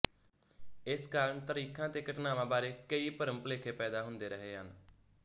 ਇਸ ਕਾਰਨ ਤਾਰੀਖਾਂ ਤੇ ਘਟਨਾਵਾਂ ਬਾਰੇ ਕਈ ਭਰਮਭੁਲੇਖੇ ਪੈਦਾ ਹੁੰਦੇ ਰਹੇ ਹਨ